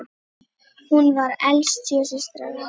Hún var elst sjö systra.